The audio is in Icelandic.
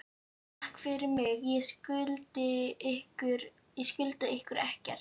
Takk fyrir mig, ég skulda ykkur ekkert.